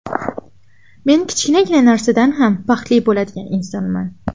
Men kichkinagina narsadan ham baxtli bo‘ladigan insonman.